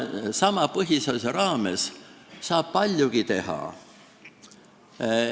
Sama põhiseaduse raames saab paljugi teha.